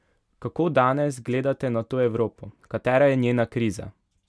Kako danes gledate na to Evropo, katera je njena kriza?